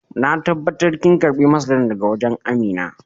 Na tabatar kin karba masaran daga wajen Amina?